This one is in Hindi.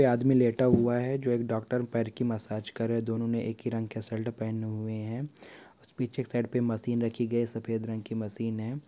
ए आदमी लेटा हुआ है जो एक डॉक्टर पैर की मसाज कर रहे। दोनों ने एक ही रंग के सल्ट पहने हुए है। पीछे के साइड पे मशीन रखी गयी है। सफ़ेद रंग की मशीन है।